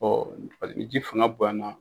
ni ji fanga bonyana.